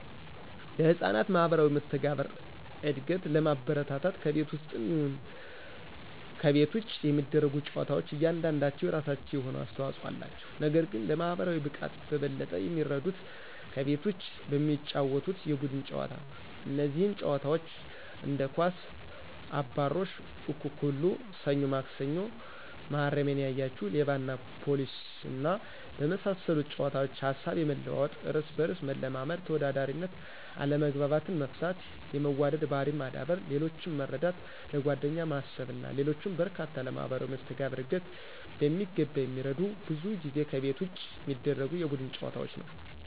ለሕፃናት ማህበራዊ መስተጋብር እድገት ለማበረታታት ከቤት ውስጥም ይሁን ይሁን ከቤት ውጭ የሚደረጉ ጨዋታዎች እያንዳንዳቸው የራሳቸው የሆነ አስተዋጽኦ አላቸው። ነገር ግን ለማህበራዊ ብቃት በበለጠ የሚረዱት ከቤት ውጪ በሚጫወቱት የቡድን ጨዋታ ነው። እነዚህም ጨዋታዎች እንደ ኳስ፣ አባሮሽ፣ አኩኩሉ፣ ሰኞ ማክሰኞ፣ መሀረሜን ያያችሁ፣ ሌባና ፖሊስና በመሳሰሉት ጨዋታዎች ሀሳብ የመለዋወጥ፣ እርስ በርስ መለማመድ፣ ተወዳዳሪነት፣ አለመግባባትን መፍታት፣ የመዋደድ ባህሪን ማዳበር፣ ሌሎችን መረዳት፣ ለጓደኛ ማሰብና ሌሎችም በርካታ ለማህበራዊ መስተጋብር ዕድገት በሚገባ የሚረዱት ብዙ ጊዜ ከቤት ውጭ በሚደረጉ የቡድን ጨዋታዎች ነዉ።